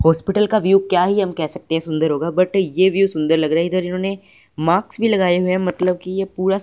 hospital का view क्या ही हम कह सकते है सुंदर होगा बट ये व्यू सुंदर लग रहा है इधर इन्होंने माक्स भी लगाए है मतलब कि ये पूरा--